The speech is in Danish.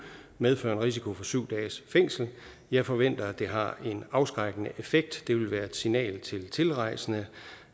medføre en risiko for syv dages fængsel jeg forventer at det har en afskrækkende effekt det vil være et signal til tilrejsende